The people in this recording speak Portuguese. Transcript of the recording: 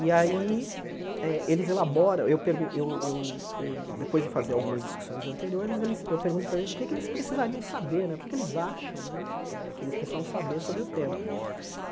E aí eh eles elaboram, eu pergun eu eu eu depois de fazer algumas discussões anteriores, eles eu pergunto para eles o que eles precisariam saber né, o que é que eles acham né eh que eles precisam saber sobre o tema.